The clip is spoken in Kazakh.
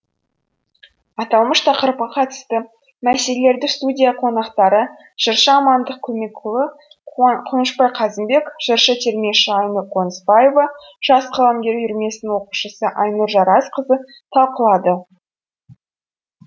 аталмыш тақырыпқа қатысты мәселелерді студия қонақтары жыршы амандық көмекұлы қуынышбай қазымбек жыршы термеші айнұр қонысбаева жас қаламгер үйірмесінің оқушысы айнұр жарасқызы талқылады